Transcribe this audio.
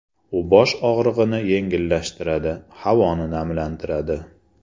U bosh og‘rig‘ini yengillashtiradi, havoni namlantiradi.